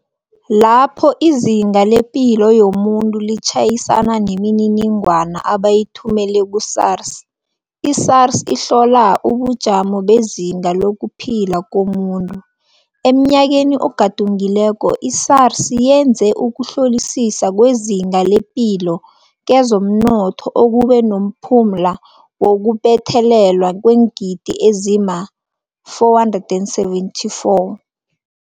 Lapho izinga lepilo yomuntu litjhayisana nemininigwana abayithumele ku-SARS, i-SARS ihlola ubujamo bezinga lokuphila komuntu. Emnyakeni ogadungileko, i-SARS yenze ukuhlolisisa kwezinga lepilo kezomnotho okube nomphumla wokubuthelelwa kweengidi ezima-R474.